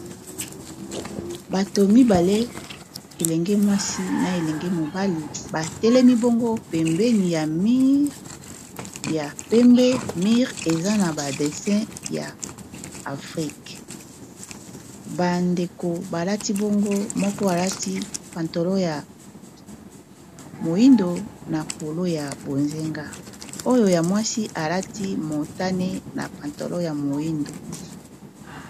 bato mibale elenge mwasi na elenge mobali batelemi bongo pembeni ya mire ya pembe mire eza na ba destin ya afrike bandeko balati bongo moko alati pantolo ya moindo na polo ya bozenga oyo ya mwasi alati motane na pantolo ya moindo